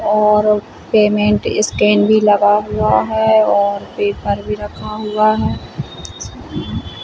और payment scan भी लगा हुआ है और पेपर भी रखा हुआ है ।